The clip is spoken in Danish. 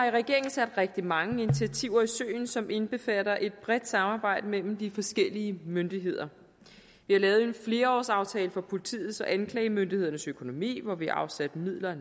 sat rigtig mange initiativer i søen som indbefatter et bredt samarbejde mellem de forskellige myndigheder vi har lavet en flerårsaftale for politiets og anklagemyndighedens økonomi hvor vi har afsat midler